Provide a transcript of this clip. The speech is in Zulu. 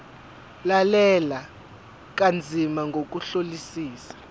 lalela kanzima ngokuhlolisisa